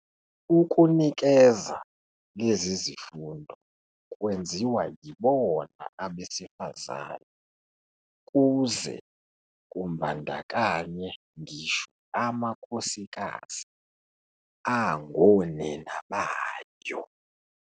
Ukunikeza lezi zifundo kwenziwa yibona abesifazane kuze kumbandakanye ngisho amakhosikazi angonina bayo